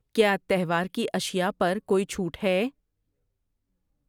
کیا تہوار کی اشیاء پر کوئی چھوٹ ہے؟